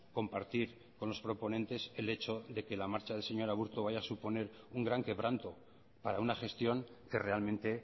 compartir con los proponentes el hecho de que la marcha del señor aburto vaya a suponer un gran quebranto para una gestión que realmente